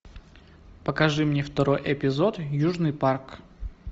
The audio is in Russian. покажи мне второй эпизод южный парк